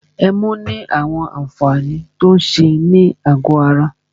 Ẹmu ní àwọn àǹfààní tí o ń ṣe ní àgọ ara.